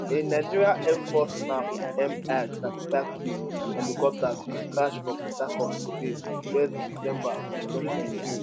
a nigerian air force naf mi35p helicopter bin crash for port harcourt today 1 december 2023